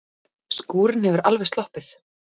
Skúrinn hefur alveg sloppið?